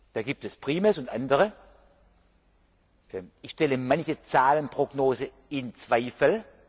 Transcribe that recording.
Da gibt es PRIMES und andere Modelle ich ziehe manche Zahlenprognose in Zweifel.